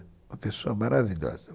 Uma pessoa maravilhosa.